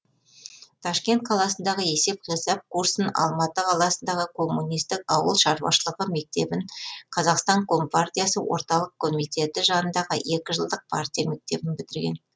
ташкент қаласындағы есеп қисап курсын алматы қаласындағы коммунистік ауыл шаруашылығы мектебін қазақстан компартиясы орталық комитеті жанындағы екі жылдық партия мектебін бітірген